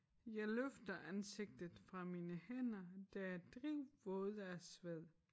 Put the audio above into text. Jeg løfter ansigtet fra mine hænder der er drivvåde af sved